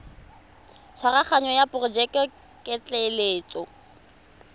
tshwaraganyo ya porojeke ya ketleetso